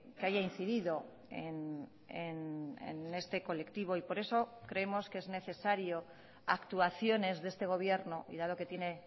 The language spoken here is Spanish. que haya incidido en este colectivo y por eso creemos que es necesario actuaciones de este gobierno y dado que tiene